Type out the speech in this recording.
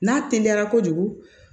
N'a teliyara kojugu